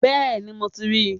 Bẹ́ẹ̀ni, mo ti ríi